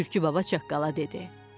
Tülkü baba çaqqala dedi: